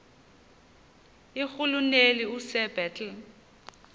irhuluneli usir bartle